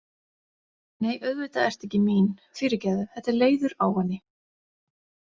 Nei, auðvitað ertu ekki mín, fyrirgefðu, þetta er leiður ávani